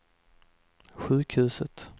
sjukhuset